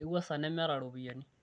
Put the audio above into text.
kewuasa nemeeta irropiani